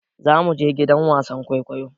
Za mu je gidan wasan kwaikwayo.